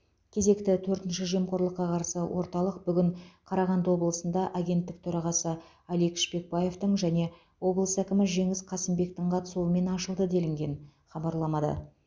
кезекті төртінші жемқорлыққа қарсы орталық бүгін қарағанды облысында агенттік төрағасы алик шпекбаевтың және облыс әкімі жеңіс қасымбектің қатысуымен ашылды делінген хабарламада